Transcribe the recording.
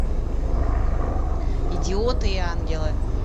идиоты и ангелы